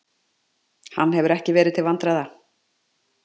Hann hefur ekki verið til vandræða.